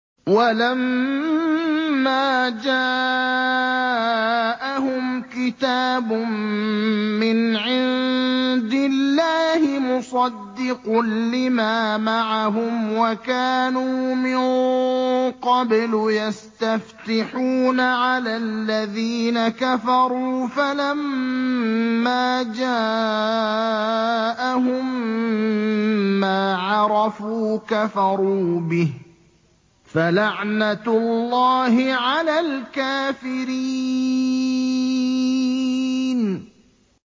وَلَمَّا جَاءَهُمْ كِتَابٌ مِّنْ عِندِ اللَّهِ مُصَدِّقٌ لِّمَا مَعَهُمْ وَكَانُوا مِن قَبْلُ يَسْتَفْتِحُونَ عَلَى الَّذِينَ كَفَرُوا فَلَمَّا جَاءَهُم مَّا عَرَفُوا كَفَرُوا بِهِ ۚ فَلَعْنَةُ اللَّهِ عَلَى الْكَافِرِينَ